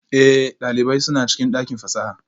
Ee, ɗalibai suna cikin ɗakin fasaha